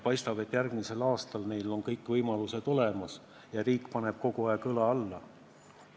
Paistab, et järgmisel aastal on neil kõik võimalused olemas ja riik paneb kogu aeg õla alla.